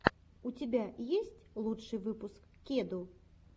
у тебя есть лучший выпуск кеду